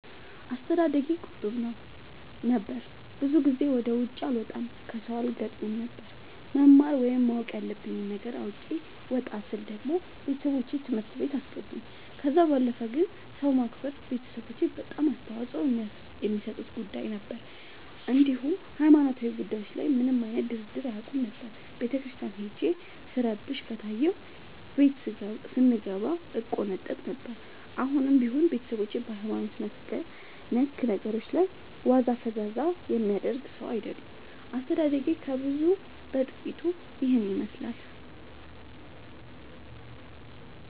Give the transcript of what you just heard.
አስተዳደጌ ቁጥብ ነበር። ብዙ ጊዜ ወደ ውጪ አልወጣም ከሠው አልገጥምም ነበር። መማር ወይም ማወቅ ያለብኝ ነገር አውቄ ወጣ ስል ደግሞ ቤተሠቦቼ ትምህርት ቤት አስገቡኝ። ከዛ ባለፈ ግን ሰው ማክበር ቤተሠቦቼ በጣም አፅንኦት የሚሠጡት ጉዳይ ነበር። እንዲሁም ሀይማኖታዊ ጉዳዮች ላይ ምንም አይነት ድርድር አያውቁም ነበር። ቤተክርስቲያን ሄጄ ስረብሽ ከታየሁ ቤት ስንገባ እቆነጠጥ ነበር። አሁንም ቢሆን ቤተሠቦቼ በሀይማኖት ነክ ነገሮች ላይ ዋዛ ፈዛዛ የሚያደርግ ሠው አይወዱም። አስተዳደጌ ከብዙው በጥቂቱ ይህን ይመሥላል።